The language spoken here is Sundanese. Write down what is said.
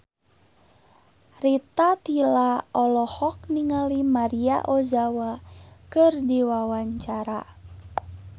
Rita Tila olohok ningali Maria Ozawa keur diwawancara